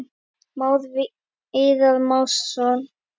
Már Viðar Másson.